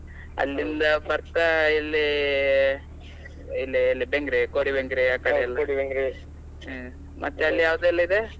ಅಲ್ಲಿಂದ ಬರ್ತಾ ಇಲ್ಲಿ ಇಲ್ಲೇ ಇಲ್ಲೇ Bengre, Kodi, Bengre ಯಾಕಡೆ ಮತ್ತಲ್ಲಿ ಯಾವ್ದೆಲ್ಲಾ ಇದೆ?